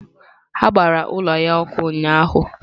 Ha gbara ụlọ ya ọkụ ụnyahụ.